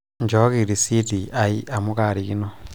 inchooki risiti ai amuu kaarikino